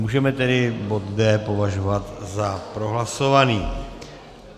Můžeme tedy bod D považovat za prohlasovaný.